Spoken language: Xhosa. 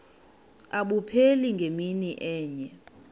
abupheli ngemini enye